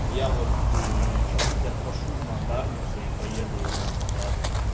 я вот чуть-чуть от пашу на дарнице и поеду на показ